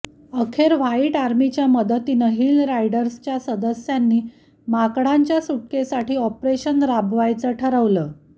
अखेर व्हाईट आर्मीच्या मदतीनं हिल रायडर्सच्या सदस्यांनी माकडांच्या सुटकेसाठी ऑपरेशन राबवायचं ठरवलं